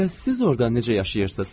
Bəs siz orda necə yaşayırsınız?